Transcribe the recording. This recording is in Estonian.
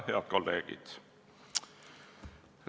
Head kolleegid!